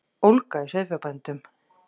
Ólga í sauðfjárbændum